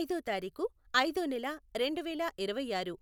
ఐదో తారిఖు, ఐదో నెల, రెండు వేల ఇరవైఆరు.